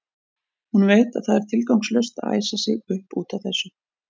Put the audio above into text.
Hún veit að það er tilgangslaust að æsa sig upp út af þessu.